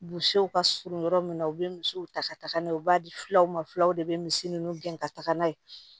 ka surun yɔrɔ min na u be misiw ta ka taga n'a ye u b'a di fulaw ma filaw de be misi nunnu gɛn ka taga n'a ye